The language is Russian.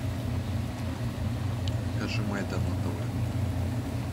покажи майдан на тв